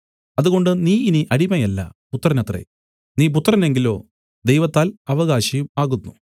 അതുകൊണ്ട് നീ ഇനി അടിമയല്ല പുത്രനത്രെ നീ പുത്രനെങ്കിലോ ദൈവത്താൽ അവകാശിയും ആകുന്നു